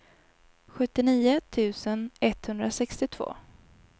sjuttionio tusen etthundrasextiotvå